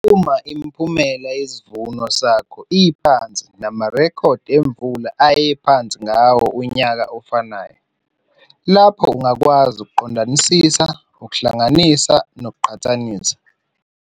Uma imiphumela yesivuno sakho iphansi namarekhodi emvula ayephansi ngawo unyaka ofanayo, lapho ungakwazi ukuqondisisa ukuhlanganisa ngokuqhathanisa.